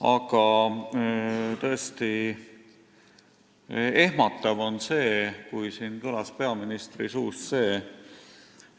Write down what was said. Aga tõesti ehmatav oli see, kui siin kõlas peaministri suust,